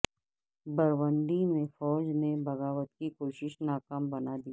Burundi میں فوج نے بغاوت کی کوشش ناکام بنادی